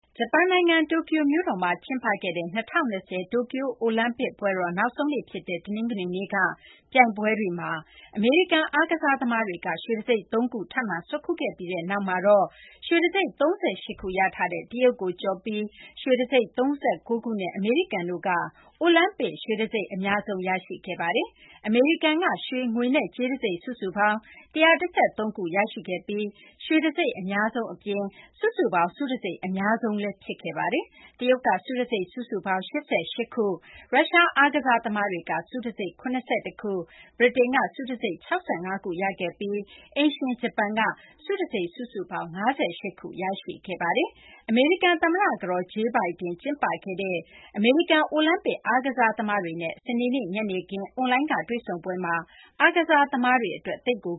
ဂျပန်နိုင်ငံ တိုကျိုမြို့တော်မှာ ကျင်းပခဲ့တဲ့ ၂၀၂၀ တိုကျို အိုလံပစ် ပွဲတော်နောက်ဆုံးနေ့ ဖြစ်တဲ့ တနင်္ဂနွေနေ့က ပြိုင်ပွဲတွေမှာ အမေရိကန် အားကစားသမားတွေက ရွှေတံဆိပ် ၃ ခု ထပ်မံ ဆွတ်ခူးခဲ့ပြီးနောက်မှာတော့ ရွှေတံဆိပ် ၃၈ ခု ရထားတဲ့ တရုတ်ကို ကျော်ပြီး ရွှေတံဆိပ် ၃၉ ခုနဲ့ အမေရိကန်တို့က အိုလံပစ် ရွှေတံဆိပ် အများဆုံး ရရှိခဲ့ပါတယ်။ အမေရိကန်က ရွှေ၊ ငွေနဲ့ ကြေးတံဆိပ် စုစုပေါင်း ၁၁၃ ခု ရရှိခဲ့ပြီး ရွှေတံဆိပ် အများဆုံး အပြင် စုစုပေါင်း ဆုတံဆိပ် အများဆုံး ရရှိခဲ့ပါတယ်။ တရုတ်က ဆုတံဆိပ် စုစုပေါင်း ၈၈ ခု၊ ရုရှား အားကစား သမားတွေက ဆုတံဆိပ် ၇၁ ခု၊ ဗြိတိန်က ဆုတံဆိပ် ၆၅ ခု ရခဲ့ပြီး အိမ်ရှင် ဂျပန်က ဆုတံဆိပ် စုစုပေါင်း ၅၈ ခု ရရှိခဲ့ပါတယ်။ အမေရိကန် သမ္မတ ကတော် Jill Biden ကျင်းပခဲ့တဲ့ အမေရိကန် အိုလံပစ် အားကစားသမားတွေနဲ့ စနေနေ့ ညနေခင်း အွန်လိုင်းကနေ တွေ့ဆုံပွဲမှာ အားကစား သမားတွေ အတွက် သိပ်ကို